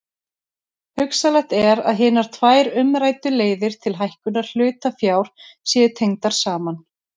Hugsanlegt er að hinar tvær umræddu leiðir til hækkunar hlutafjár séu tengdar saman.